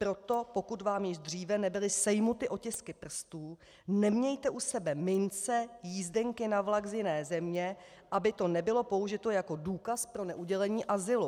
Proto pokud vám již dříve nebyly sejmuty otisky prstů, nemějte u sebe mince, jízdenky na vlak z jiné země, aby to nebylo použito jako důkaz pro neudělení azylu.